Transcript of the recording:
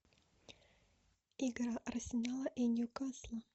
игра арсенала и ньюкасла